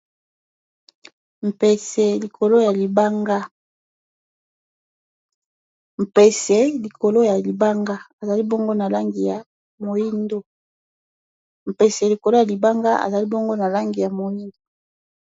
Mpese likolo ya libanga mpese likolo ya libanga ezali bongo na langi ya moindu. Mpese likolo ya libanga azali boye na langi ya moindu.